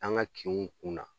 An ga kinw kunna